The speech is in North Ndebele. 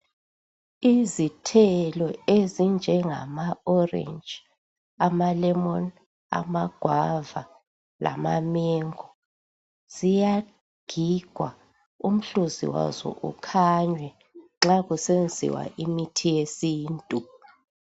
Izithelo ezinjengama orentshi amalemoni amagwava lamamengo ziya gigwa umhluzi waso ukhanwe nxa kusenziwa imithi yesintu